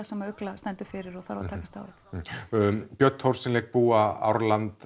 sem ugla stendur fyrir og þarf að takast á við björn Thors sem leikur búa